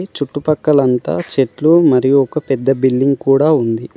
చుట్టుపక్కలంతా చెట్లు మరియు ఒక పెద్ద బిల్డింగ్ కూడా ఉంది.